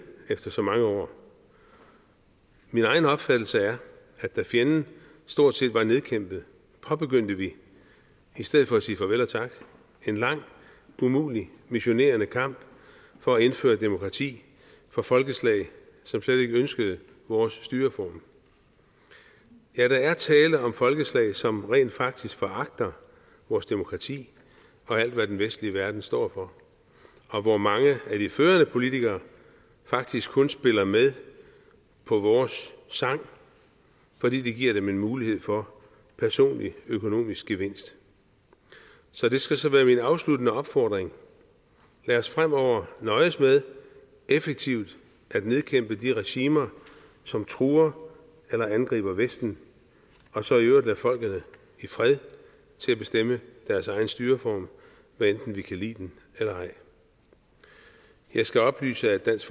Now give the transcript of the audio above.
efter så mange år min egen opfattelse er at da fjenden stort set var nedkæmpet påbegyndte vi i stedet for at sige farvel og tak en lang umulig missionerende kamp for at indføre demokrati for folkeslag som slet ikke ønskede vores styreform ja der er tale om folkeslag som rent faktisk foragter vores demokrati og alt hvad den vestlige verden står for og hvor mange af de førende politikere faktisk kun spiller med på vores sang fordi det giver dem en mulighed for personlig økonomisk gevinst så det skal være min afsluttende opfordring lad os fremover nøjes med effektivt at nedkæmpe de regimer som truer eller angriber vesten og så i øvrigt lade folk i fred bestemme deres egen styreform hvad enten vi kan lide den eller ej jeg skal oplyse at dansk